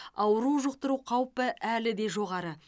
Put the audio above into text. ауру жұқтыру қауіпі әлі де жоғары